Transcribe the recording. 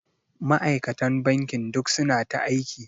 Ma'aikatan bankin duk suna ta aiki.